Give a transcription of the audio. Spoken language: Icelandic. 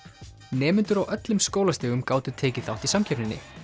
nemendur á öllum skólastigum gátu tekið þátt í samkeppninni